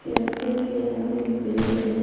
Cafe के आगे पेड़ है ।